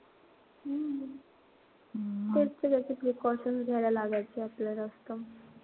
तेच ते त्याचे precaution घ्यावे लागायचे आपल्याला जास्त.